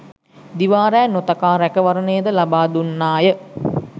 දිවා රෑ නොතකා රැකවරණය ද ලබා දුන්නා ය.